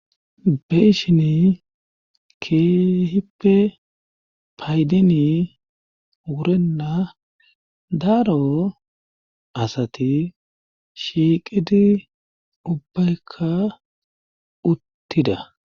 Beishini keehippe paydini wurenna daaro asati shiiqidi ubbaykka uttida.